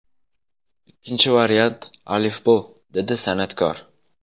Ikkinchi variant ‘Alifbo‘”, – dedi san’atkor.